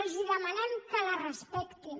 els demanem que la respectin